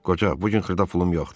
Qoca, bu gün xırda pulum yoxdur.